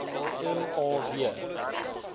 m a w